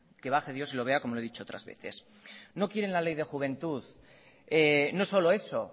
que baje dios y que lo vea como lo he dicho otras veces no quieren la ley de juventud no solo eso